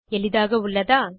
எளிதாக உள்ளதா